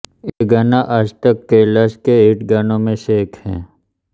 ये गाना आजतक कैलाश के हिट गानों में से एक है